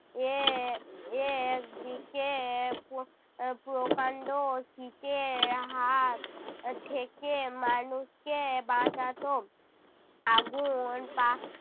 এ~ একদিকে পো~ আহ প্রকান্ড শীতের হাত থেকে মানুষকে বাঁচাত। আগুন পা~